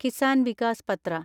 Kisan Vikas Patra